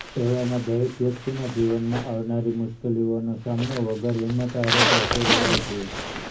એવામાં દરેક વ્યકિતના જીવનમાં આવનારી મુશ્કેલીઓનો સામનો વગર હિમ્મત હારે કરતો રહેવો જોઇએ